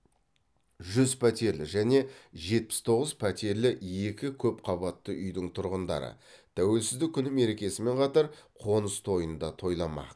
жүз пәтерлі және жетпіс тоғыз пәтерлі екі көп қабатты үйдің тұрғындары тәуелсіздік күні мерекесімен қатар қоныс тойын да тойламақ